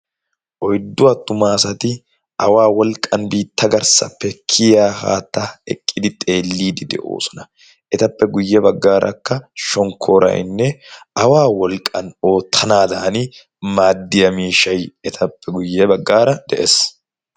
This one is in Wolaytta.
oyddu attuma asati awaa wolqqan biitta garssappe kiya haatta eqqidi xeelliidi de'oosona etappe guyye baggaarakka shonkkorainne awaa wolqqan oottanaadan maaddiya miishay etappe guyye baggaara de'ees